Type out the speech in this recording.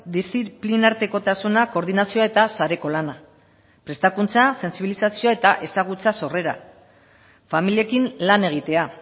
diziplinartekotasuna koordinazioa eta sareko lana prestakuntza sentsibilizazioa eta ezagutzaz horrela familiekin lan egitea